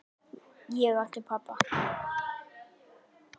Ég átti pabba.